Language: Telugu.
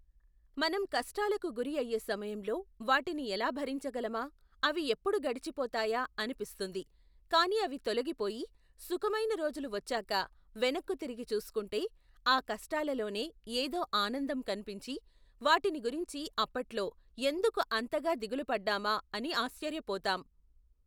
మనం కష్టాలకు గురి అయ్యే సమయంలో వాటిని ఎలా భరించగలమా, అవి ఎప్పుడు గడిచిపోతాయా అనిపిస్తుంది. కాని అవి తొలగిపోయి సుఖమైన రోజులు వచ్చాక వెనక్కుతిరిగి చూసుకుంటే ఆ కష్టాలలోనే ఏదో ఆనందం కనిపించి, వాటిని గురించి అప్పట్లో, ఎందుకు అంతగా దిగులుపడ్డామా అని ఆశ్చర్యపోతాం.